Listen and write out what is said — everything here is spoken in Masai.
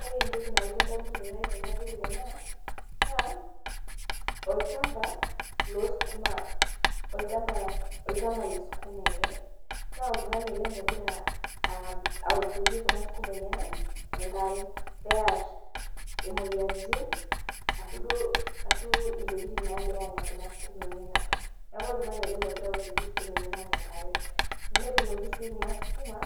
Ore entoki nalotu edamunoto ai tenadol ena, naa, olchamba losukuma, olchamba lesukuma ele. Naa oltung'ani ele logira awoshoki kuna sukuma enyanak enkare. Near imoyiaritin, ashu duo, ashu intokiting nagira anya kuna sukuma enyanak. Neeku oltung'ani ele logira awoshoki sukuma enyanak enkare. Netuunoki si kuna sukuma,